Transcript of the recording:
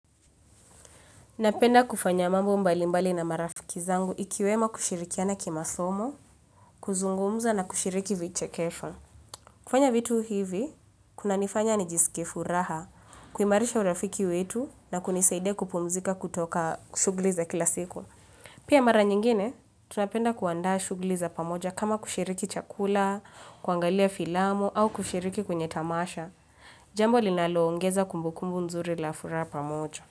Napenda kufanya mambo mbalimbali na marafiki zangu ikiwemo kushirikiana kimasomo, kuzungumza na kushiriki vichekesho. Kufanya vitu hivi, kuna nifanya nijisikifuraha, kuimarisha urafiki wetu na kunisaidia kupumzika kutoka shuguli za kila siku. Pia mara nyingine, tunapenda kuanda shuguli za pamoja kama kushiriki chakula, kuangalia filamu au kushiriki kwenye tamasha. Jambo linaloongeza kumbukumbu nzuri la furaha pamoja.